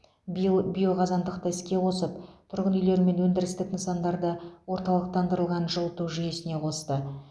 биыл биоқазандықты іске қосып тұрғын үйлер мен өндірістік нысандарды орталықтандырылған жылыту жүйесіне қосты